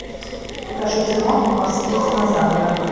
покажи кино морские динозавры